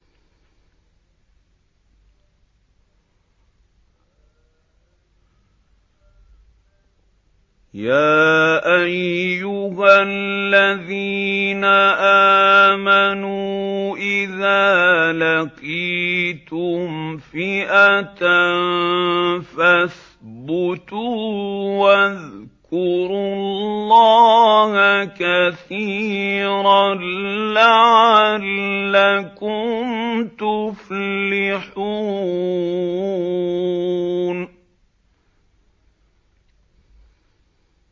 يَا أَيُّهَا الَّذِينَ آمَنُوا إِذَا لَقِيتُمْ فِئَةً فَاثْبُتُوا وَاذْكُرُوا اللَّهَ كَثِيرًا لَّعَلَّكُمْ تُفْلِحُونَ